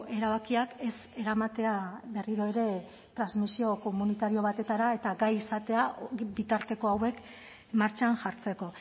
erabakiak ez eramatea berriro ere transmisio komunitario batetara eta gai izatea bitarteko hauek martxan jartzeko